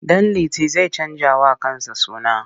Ɗanliti zai canjawa kansa suna.